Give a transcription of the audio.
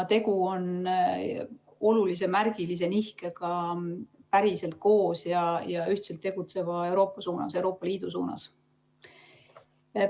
Tegu on olulise märgilise nihkega päriselt koos ja ühtselt tegutseva Euroopa suunas, Euroopa Liidu suunas.